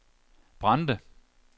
Brande